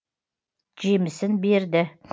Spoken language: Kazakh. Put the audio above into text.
жемісін берді